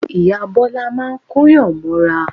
Ìyá Bọ́lá máa ń Kóyàn mọ́ra